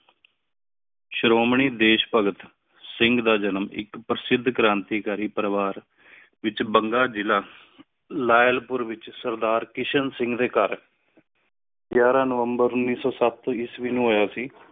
ਸ਼ਰੋਮਣੀ ਦੇਸ਼ ਭਗਤ ਸਿੰਘ ਦਾ ਜਨਮ ਇਕ ਪਰ੍ਸਿਦ ਕਰਾਂਤੀਕਾਰਿ ਪਰਿਵਾਰ ਵਿਚ ਬੰਗਾ ਜਿਲਾ ਲਾਯਲ ਪੁਰ ਏਚ ਸਰਦਾਰ ਕਿਸ਼ਨ ਸਿੰਘ ਦੇ ਘਰ ਗਿਆਰਾਂ ਨਵੰਬਰ ਉੱਨੀ ਸੋ ਸੱਤ ਈਸਵੀ ਨੂ ਹੋਯਾ ਸੀ।